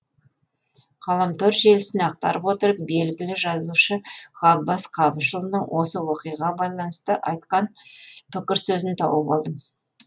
ғаламтор желісін ақтарып отырып белгілі жазушы ғаббас қабышұлының осы оқиғаға байланысты айтқан пікір сөзін тауып алдым